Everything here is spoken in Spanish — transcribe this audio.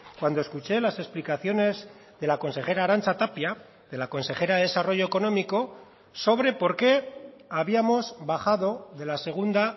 cuando escuché las explicaciones de la consejera arantza tapia de la consejera de desarrollo económico sobre por qué habíamos bajado de la segunda